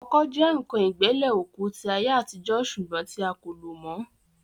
Ọkọ́ jẹ́ ǹkan ìgbẹ́lẹ̀ òkú tí àyè àtijọ́ sùgbọ́n tí a kò lò mọ́